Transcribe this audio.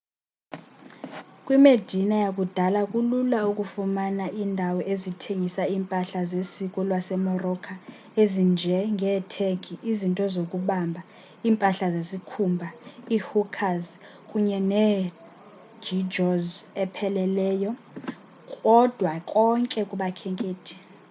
kwimedina yakudala kulula ukufumana iindawo ezithengisa iimpahla zesiko lasemorocco ezinje ngeethegi izinto zobumba iimpahla zesikhumba iihookahs kunye negeegaws epheleleyo kodwa konke kubakhenkethi